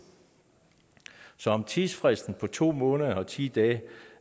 så om tidsfristen på to måneder og ti dage